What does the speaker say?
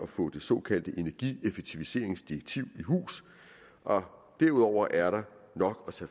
få det såkaldte energieffektiviseringsdirektiv i hus og derudover er der nok